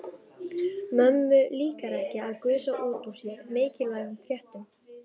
Mömmu líkar ekki að gusa út úr sér mikilvægum fréttum.